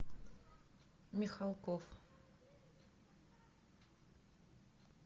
михалков